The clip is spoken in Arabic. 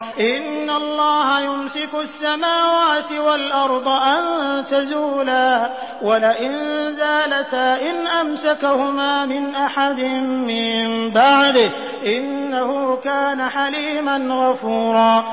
۞ إِنَّ اللَّهَ يُمْسِكُ السَّمَاوَاتِ وَالْأَرْضَ أَن تَزُولَا ۚ وَلَئِن زَالَتَا إِنْ أَمْسَكَهُمَا مِنْ أَحَدٍ مِّن بَعْدِهِ ۚ إِنَّهُ كَانَ حَلِيمًا غَفُورًا